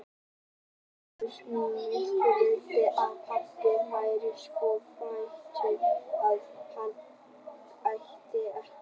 UNNUR: Mikið vildi ég hann pabbi væri svo fátækur að hann ætti ekki fyrir mat.